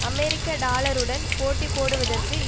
அமெரிக்க டாலருடன் போட்டி போடுவதற்கு